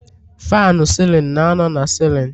Faanụ sịlịn na-anọ na sịlịn